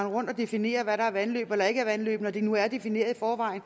rundt og definere hvad der er vandløb eller ikke er vandløb når det nu er defineret i forvejen